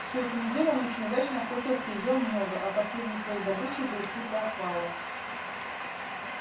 всю эту неделю он очень удачно охотился и ел много а последней своей добычей был сыт до отвала